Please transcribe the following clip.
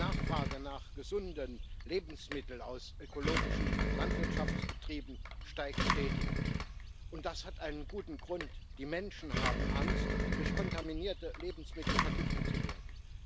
Die Nachfrage nach gesunden Lebensmitteln aus ökologischen Landwirtschaftsbetrieben steigt stetig, und das hat einen guten Grund Die Menschen haben Angst, durch kontaminierte Lebensmittel vergiftet zu werden.